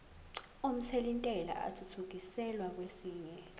omthelintela athuthukiselwa kwesinye